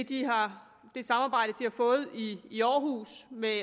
de har fået i i aarhus med